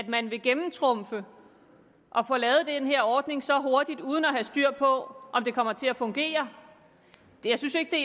man vil gennemtrumfe at her ordning så hurtigt uden at have styr på den kommer til at fungere jeg synes ikke det